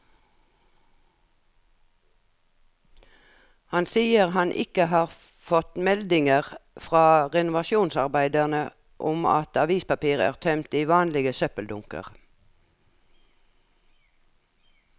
Han sier han ikke har fått meldinger fra renovasjonsarbeiderne om at avispapir er tømt i vanlige søppeldunker.